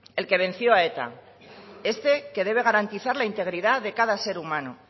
el que venció a eta este que debe garantizar la integridad de cada ser humano